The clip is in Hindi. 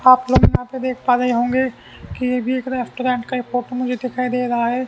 आप लोग यहाँ पे देख पा रहे होंगे की ये भी एक रेस्टोरेंट का ये फोटो मुझे दिखाई दे रहा है।